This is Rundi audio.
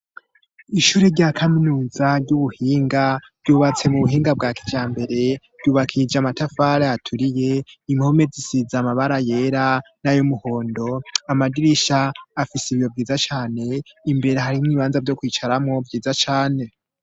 Ishure rya kaminuza ry'ubuhinga vyubatse mu buhinga bwa kijambere ryubakishije amatafari aturiye impome zisiza amabara yera n'ayo muhondo amadirisha afise ibiyo vyiza cane imbere harimo ibibanza vyo kwicaramo vyiza cane.